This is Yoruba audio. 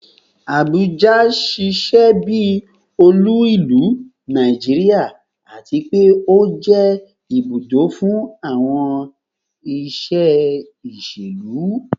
Abuja ṣiṣẹ bi olu ilu Naijiria ati pe o jẹ ibudo fun awọn iṣe iṣelu